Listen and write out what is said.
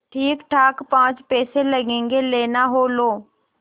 ठीकठाक पाँच पैसे लगेंगे लेना हो लो